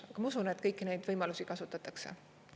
Aga ma usun, et kõiki neid võimalusi kasutatakse.